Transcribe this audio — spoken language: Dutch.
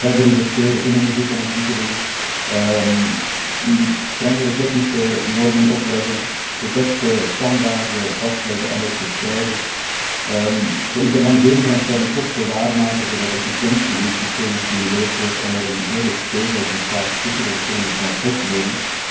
Verder investeren in onderzoek en ontwikkeling, strengere technische normen opleggen, de beste standaarden vastleggen en ook verspreiden, de internalisering van externe kosten waarmaken zodat efficiëntie in het systeem gestimuleerd wordt en er een eerlijk speelveld ontstaat tussen de verschillende transportmodi.